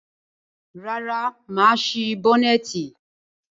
Rárá, mà á sí bọ́nẹ́ẹ̀tì.